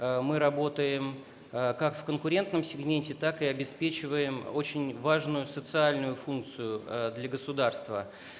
мы работаем как в конкурентном сегменте так и обеспечиваем очень важную социальную функцию для государства